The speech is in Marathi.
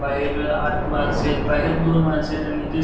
बाहेर आत माणसयत बाहेर दोन माणसयत आणि इथे --